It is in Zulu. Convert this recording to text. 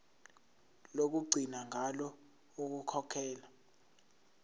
lokugcina ngalo ukukhokhela